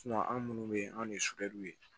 anw munnu be yen anw de ye ye